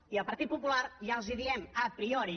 i el partit popular ja els diem a priori